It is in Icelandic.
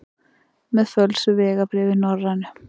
Með fölsuð vegabréf í Norrænu